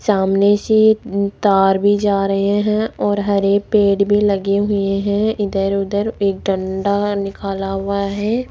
सामने से तार भी जा रहे हैं और हरे पेड़ भी लगे हुए हैं इधर उधर एक डंडा निकाला हुआ है।